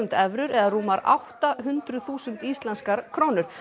evrur eða rúmar átta hundruð þúsund íslenskar krónur